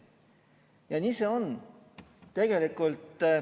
Ja nii see on.